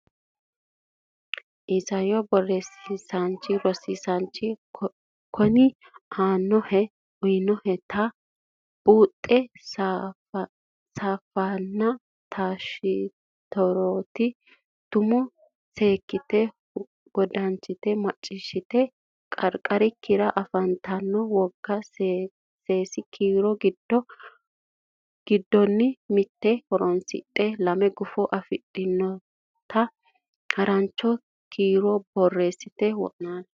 Isayyo Borreessa Rosiisaanchi okki aannohe uytannoheta buuxote safaraanonna taashshi rote tumo seekkite wodanchite macciishshatenni qarqarikkira afantanno wogate seesi kiiro dani giddonni mitte horonsidhe lame gufo afidhinota harancho kiiro borreessate wo naali.